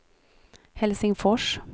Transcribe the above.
Helsingfors